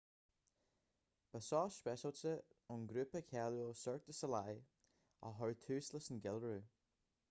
ba seó speisialta ón ngrúpa cáiliúil cirque du soleil a chur tús leis an gceiliúradh